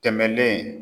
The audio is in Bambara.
Tɛmɛnen